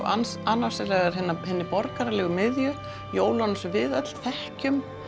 annars annars vegar hinni borgaralegu miðju jólunum sem við öll þekkjum